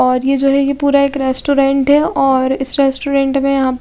और ये जो है यह पूरा एक रेस्टोरेंट है और इस रेस्टोरेंट में आप--